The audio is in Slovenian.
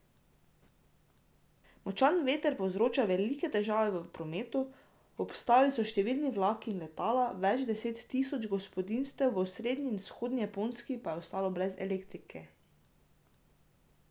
Močan veter povzroča velike težave v prometu, obstali so številni vlaki in letala, več deset tisoč gospodinjstev v osrednji in vzhodni Japonski pa je ostalo brez elektriko.